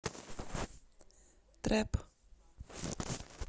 трэп